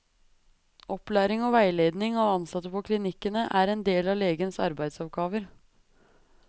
Opplæring og veiledning av ansatte på klinikkene er en del av legens arbeidsoppgaver.